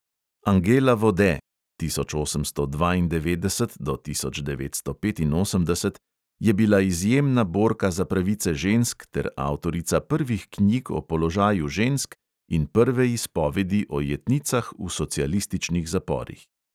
Angela vode (tisoč osemsto dvaindevetdeset do tisoč devetsto petinosemdeset) je bila izjemna borka za pravice žensk ter avtorica prvih knjig o položaju žensk in prve izpovedi o jetnicah v socialističnih zaporih.